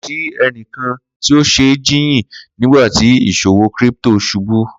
Ko si ẹnikan ti o ṣe jiyin nigbati iṣowo crypto ṣubu